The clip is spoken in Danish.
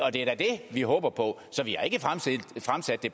og det er da det vi håber på så vi